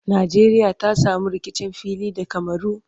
Nqjeriya ta samu rikicin fili da camaru?